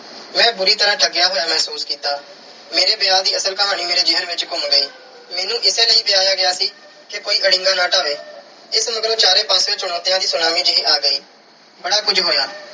ਮੈਂ ਬੁਰੀ ਤਰ੍ਹਾਂ ਠੱਗਿਆ ਹੋਇਆ ਮਹਿਸੂਸ ਕੀਤਾ। ਮੇਰੇ ਵਿਆਹ ਦੀ ਅਸਲ ਕਹਾਣੀ ਮੇਰੇ ਜ਼ਹਿਨ ਵਿੱਚ ਘੁੰਮ ਗਈ। ਮੈਨੂੰ ਇਸੇ ਲਈ ਵਿਆਹਿਆ ਗਿਆ ਸੀ ਕਿ ਕੋਈ ਅੜਿੰਗਾ ਨਾ ਡਾਹਵੇ। ਇਸ ਮਗਰੋਂ ਚਾਰੇ ਪਾਸਿਉਂ ਚੁਣੌਤੀਆਂ ਦੀ ਸੁਨਾਮੀ ਜਿਹੀ ਆ ਗਈ। ਬੜਾ ਕੁਝ ਹੋਇਆ।